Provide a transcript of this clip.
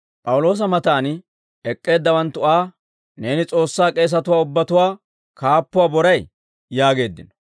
P'awuloosa matan ek'k'eeddawanttu Aa, «Neeni S'oossaa k'eesatuwaa ubbatuwaa kaappuwaa boray?» yaageeddino.